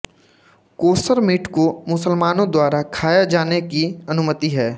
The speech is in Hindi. कोशर मीट को मुसलमानों द्वारा खाया जाने की अनुमति है